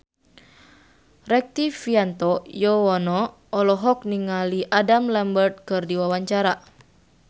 Rektivianto Yoewono olohok ningali Adam Lambert keur diwawancara